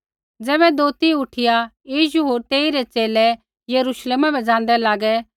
ज़ैबै दोथी उठिया यीशु होर तेइरै च़ेले यरूश्लेमा बै ज़ाँदै लागै